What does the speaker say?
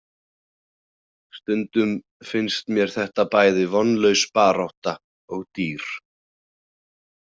Stundum finnst mér þetta bæði vonlaus barátta og dýr.